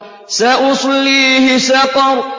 سَأُصْلِيهِ سَقَرَ